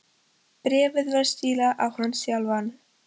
Bréfið var stílað á hann sjálfan.